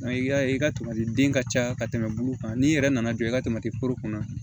I y'a ye i ka tamati den ka ca ka tɛmɛ bulu kan n'i yɛrɛ nana jɔ ka tamati foro kɔnɔ